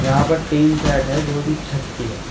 यहां पर tin set है जो की छत की है।